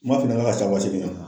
N man f'i ɲɛna n k'a ca wa seegin ye.